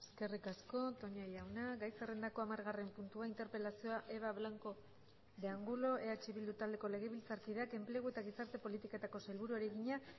eskerrik asko toña jauna gai zerrendako hamargarren puntua interpelazioa eva blanco de angulo eh bildu taldeko legebiltzarkideak enplegu eta gizarte politiketako sailburuari egina